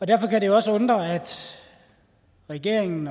derfor kan det også undre at regeringen